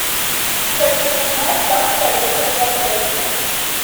хочу узнать как проехать в отель